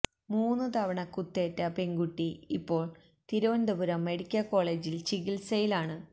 മൂന്ന് തവണ കുത്തേറ്റ പെണ്കുട്ടി ഇപ്പോള് തിരുവനന്തപുരം മെഡിക്കല് കോളേജില് ചികിത്സയിലാണ്